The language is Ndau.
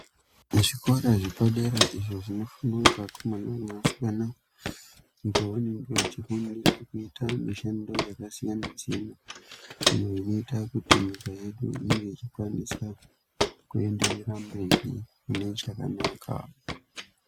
Muzvikora zvepadera izvo zvinofundwa ngevakomana nevasikana uko vanenge vachifundira kuita mishando yakasiyana siyana iyo inoita kuti nyika yedu inge ichienderera mberi mune chakanaka.